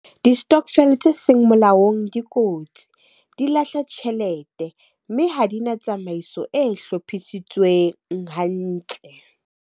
Di-stokvel tse seng molaong dikotsi, di lahla tjhelete, mme ha di na tsamaiso e hlophisitsweng hantle.